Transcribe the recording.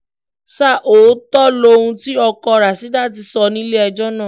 ṣá ò ọ̀tọ̀ lohun tí ọkọ rashdát sọ nílẹ̀-ẹjọ́ náà